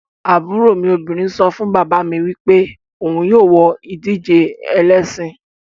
Aburo mi obinrin so fun baba mi wipe ohun yoo wo idije elesin